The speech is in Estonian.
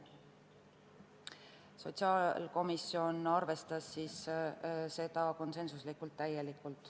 Sotsiaalkomisjon arvestas seda ettepanekut konsensuslikult.